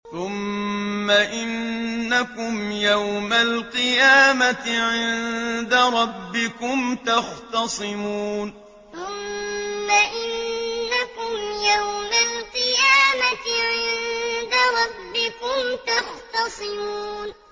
ثُمَّ إِنَّكُمْ يَوْمَ الْقِيَامَةِ عِندَ رَبِّكُمْ تَخْتَصِمُونَ ثُمَّ إِنَّكُمْ يَوْمَ الْقِيَامَةِ عِندَ رَبِّكُمْ تَخْتَصِمُونَ